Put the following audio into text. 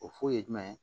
O foyi ye jumɛn ye